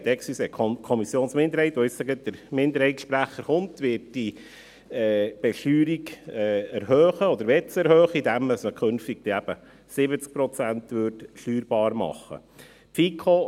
Ich korrigiere mich: die Kommissionsminderheit, deren Sprecher nun gleich sprechen wird, möchte diese Besteuerung erhöhen, indem man sie eben künftig bei 70 Prozent steuerbar machen würde.